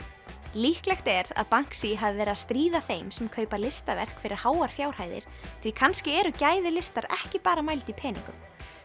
líklegt er að hafi verið að stríða þeim sem kaupa listaverk fyrir háar fjárhæðir því kannski eru gæði listar ekki bara mæld í peningum